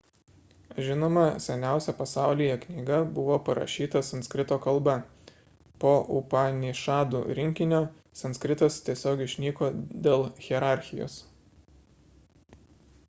žinoma seniausia pasaulyje knyga buvo parašyta sanskrito kalba po upanišadų rinkinio sanskritas tiesiog išnyko dėl hierarchijos